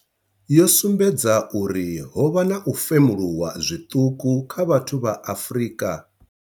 yo sumbedza uri ho vha na u femuluwa zwiṱuku kha vhathu vha Afrika.